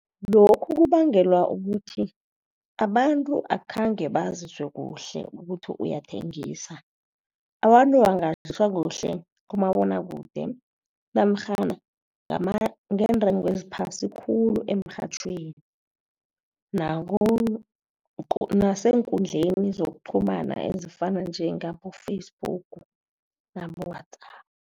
Lokhu kubangelwa ukuthi abantu akhange bazwe kuhle ukuthi uyathengisa. Abantu kuhle kumabonwakude neentengo eziphasi khulu emrhatjhweni naku nasenkundleni zokuqhumana ezifana njengabo-Facebook nabo-WhatsApp.